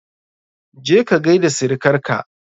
Je ka gaida sirikar ka!